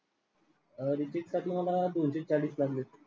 अं recheck साठी मला दोनशे चाळीस लागले.